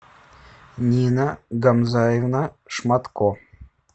нина гамзаевна шматко